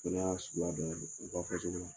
O fana y'a sugu dɔ ye u ka fɔso la.